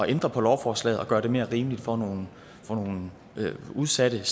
ændre på lovforslaget og gøre det mere rimeligt for nogle for nogle udsatte